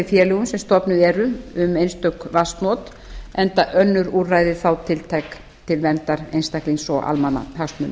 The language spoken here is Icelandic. félögum sem stofnuð eru um einstök vatnsnot enda önnur úrræði þá tiltæk til verndar einstaklings og almannahagsmunum